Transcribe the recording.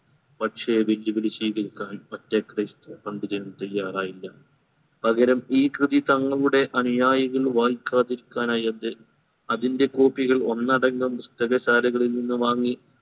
പക്ഷേ വെല്ലുവിളി സ്വീകരിക്കാൻ മറ്റേ christ പങ്കുചേരാൻ തയ്യാറായില്ല പകരം ഈ കൃതി തങ്ങളുടെ അനുയായികൾ വായികാത്തിരിക്കാനായി അദ്ദേ അതിന്റെ copy കൾ അന്നടങ്കം പുസ്തകശാലകളിൽ നിന്ന് വാങ്ങി